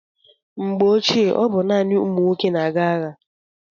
Mgbe ochie, ọ bụ naanị ụmụ nwoke na-aga agha.